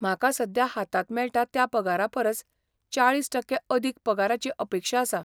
म्हाका सद्या हातांत मेळटा त्या पगारा परस चाळीस टक्के अदीक पगाराची अपेक्षा आसा.